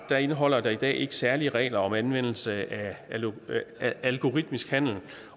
indeholder i dag ikke særlige regler om anvendelse af af algoritmisk handel